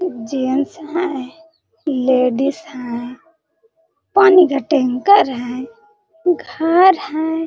Gents है ladies है पानी का टैंकर है घर है।